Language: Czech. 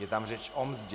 Je tam řeč o mzdě.